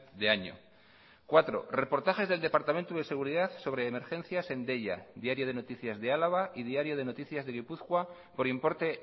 de año cuatro reportajes del departamento de seguridad sobre emergencias en deia diario de noticias de álava y diario de noticias de gipuzkoa por importe